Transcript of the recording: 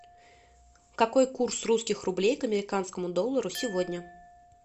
какой курс русских рублей к американскому доллару сегодня